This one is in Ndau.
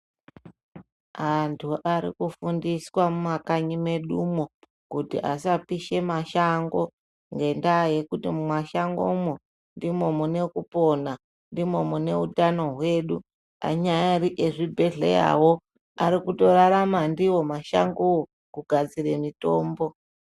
Antu ari kufundiswa mumakanyi mwedumo, kuti asapishe mashango, ngendaa yekuti mumashangomwo, ndimo mune kupona, ndimo mune utano hwedu, anyari ezvibhedhleyawo ari kutorarama ndiwo mashangowo, kugadzire mitombo.